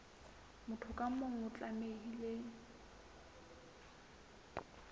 motho ka mong o tlamehile